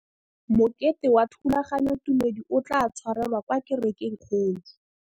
Mokete wa thulaganyôtumêdi o tla tshwarelwa kwa kerekeng e kgolo.